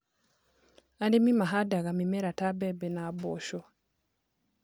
Arĩmi mahandaga mĩmera ta mbembe na mboco